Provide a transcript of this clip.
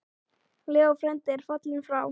Leó frændi er fallinn frá.